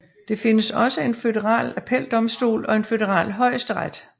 Det findes også en føderal appeldomstol og en føderal højesteret